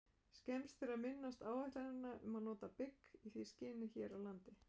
Skemmst er að minnast áætlana um að nota bygg í því skyni hér á landi.